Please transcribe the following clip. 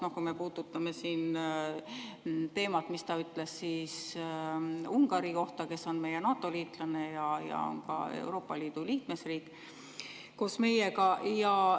Noh, puudutame seda teemat, mida ta ütles Ungari kohta, kes on meie NATO-liitlane ja ka Euroopa Liidu liikmesriik koos meiega.